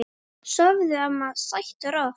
Sofðu, amma, sætt og rótt.